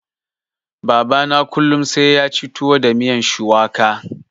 Baba na kullun sai yaci tuwo da miyan shuwaka.